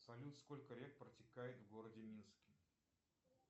салют сколько рек протекает в городе минске